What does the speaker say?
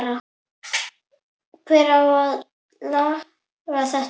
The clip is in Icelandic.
Hver á að laga þetta?